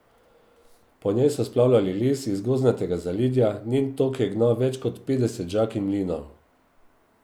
Po njej so splavljali les iz gozdnatega zaledja, njen tok je gnal več kot petdeset žag in mlinov.